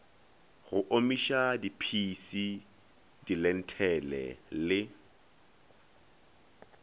go omišwa diphisi dilenthele le